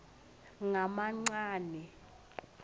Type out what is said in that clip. ngamancane